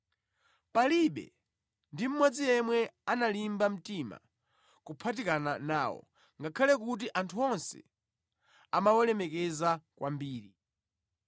Palibe ndi mmodzi yemwe analimba mtima kuphatikana nawo, ngakhale kuti anthu onse amawalemekeza kwambiri.